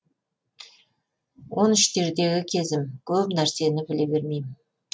он үштердегі кезім көп нәрсені біле бермейім